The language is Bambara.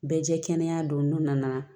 Bɛɛ jɛ kɛnɛ don n'u nana